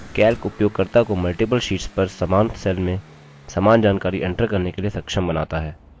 calc उपयोगकर्ता को multiple sheets पर समान cell में समान जानकारी enter करने के लिए सक्षम बनाता है